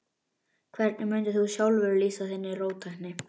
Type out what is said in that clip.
Hvernig mundir þú sjálfur lýsa þinni róttækni?